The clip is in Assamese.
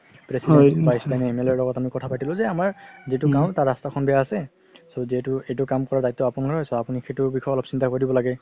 MLA ৰ লগত আমি কথা পাতিলো যে যে আমাৰ যিতো গাওঁ তাৰ ৰাস্তাখন বেয়া আছে so যিহেতু এটো কাম কৰা দায়িত্ব আপোনাৰ so আপুনি সেইটো বিষয়ত চিন্তা কৰি দিব লাগে